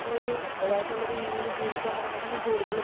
ഞാൻ ഒരു എന്റേതായിട്ടുള്ള രീതിൽ ജീവിക്കാൻ തുടങ്ങുമ്പോ ഞാൻ കൂടുതലും